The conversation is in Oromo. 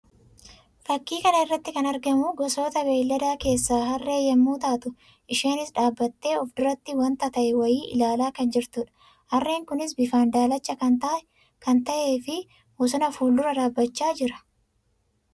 Fakkii kana irratti kan argamu gosoota beeyladaa keessaa Harree yammuu taatu; isheenis dhaabbattee of duratti wanta ta'e wayii ilaalaa kan jirtuudha. Harreen kunis bifaan daallacha kan ta'ee fi bosona fuuldura dhaabbachaa jira.